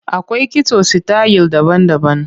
Akwai kitso sitayil daban-daban.